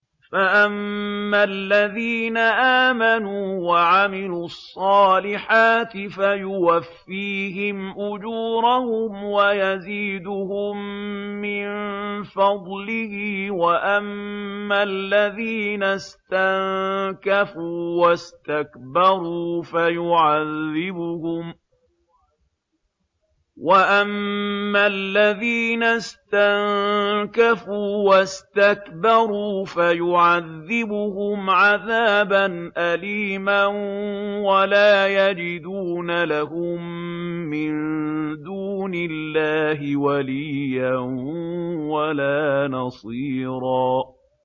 فَأَمَّا الَّذِينَ آمَنُوا وَعَمِلُوا الصَّالِحَاتِ فَيُوَفِّيهِمْ أُجُورَهُمْ وَيَزِيدُهُم مِّن فَضْلِهِ ۖ وَأَمَّا الَّذِينَ اسْتَنكَفُوا وَاسْتَكْبَرُوا فَيُعَذِّبُهُمْ عَذَابًا أَلِيمًا وَلَا يَجِدُونَ لَهُم مِّن دُونِ اللَّهِ وَلِيًّا وَلَا نَصِيرًا